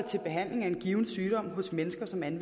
ministeren